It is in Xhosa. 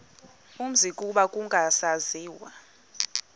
umzi kuba kwakungasaziwa